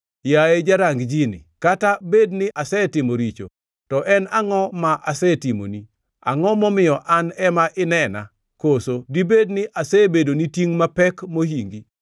Yaye jarang ji-ni, kata bed ni asetimo richo, to en angʼo ma asetimoni? Angʼo momiyo an ema inena? Koso dibed ni asebedoni tingʼ mapek mohingi?